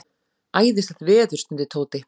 Æðislegt veður stundi Tóti.